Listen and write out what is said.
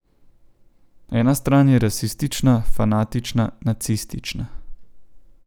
Ena stran je rasistična, fanatična, nacistična.